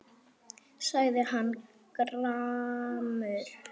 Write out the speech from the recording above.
sagði hann gramur.